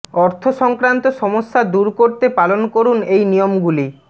অর্থ সংক্রান্ত সমস্যা দূর করতে পালন করুন এই নিয়মগুলি